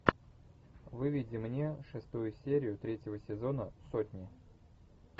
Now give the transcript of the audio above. выведи мне шестую серию третьего сезона сотни